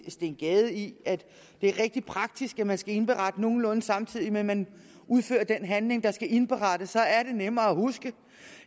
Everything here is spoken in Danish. steen gade i at det er rigtig praktisk at man skal indberette nogenlunde samtidig med at man udfører den handling der skal indberettes så er det nemmere at huske